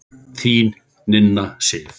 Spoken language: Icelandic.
Þín Nína Sif.